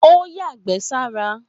Ó yàgbẹ́ sára.